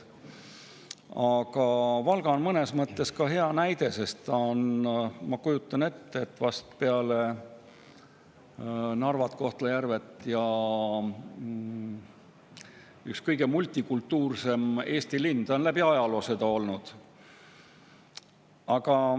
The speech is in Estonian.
Aga Valga on mõnes mõttes hea näide, sest ta on, ma kujutan ette, peale Narvat ja Kohtla-Järvet üks kõige multikultuurilisemaid Eesti linnu, ta on läbi ajaloo seda olnud.